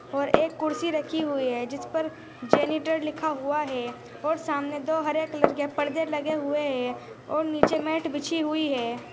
और एक कुर्सी रखी हुई है जिस पर जेनिफर लिखा हुआ है और सामने दो हरे कलर के परदे लगे हुए हैं और नीचे मैट बिछी हुई है।